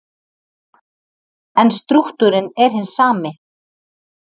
En strúktúrinn er hinn sami.